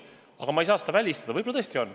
Aga ma ei saa seda välistada, võib-olla tõesti on.